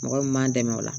Mɔgɔ min m'an dɛmɛ o la